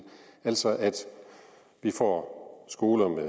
så vi får skoler med